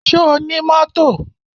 Ṣo ní mọ́tò?